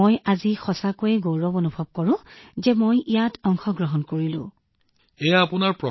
মই আজি সঁচাকৈয়ে গৌৰৱান্বিত অনুভৱ কৰো যে মই ইয়াত অংশগ্ৰহণ কৰিছিলো আৰু মই বহুত সুখী